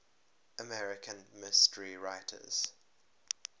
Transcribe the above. american mystery writers